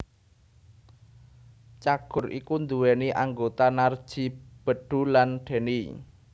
Cagur iku nduweni anggota Narji Bedu lan Denny